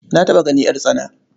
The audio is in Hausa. Na taɓa ganin ƴartsana.